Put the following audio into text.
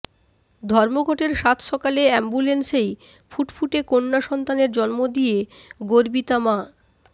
ধর্মঘটের সাতসকালে অ্যাম্বুলেন্সেই ফুটফুটে কন্যা সন্তানের জন্ম দিয়ে গর্বিতা মা